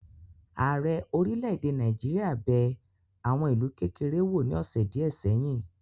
Ààrẹ orílẹ̀-èdè Nàìjíríà bẹ̀ àwọn ìlú kékeré wò ní ọ́sẹ́ díẹ̀ ṣèyìn